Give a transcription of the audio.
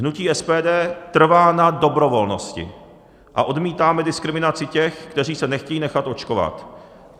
Hnutí SPD trvá na dobrovolnosti a odmítáme diskriminaci těch, kteří se nechtějí nechat očkovat.